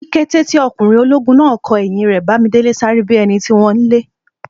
Ní kété tí ọkùnrin ológun náà kò ẹ̀yìn rẹ̀, Bándélé sáré bíi ẹnití wón nlé